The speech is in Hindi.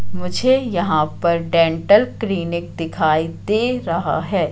मुझे यहां पर डेंटल क्लिनिक दिखाई दे रहा है।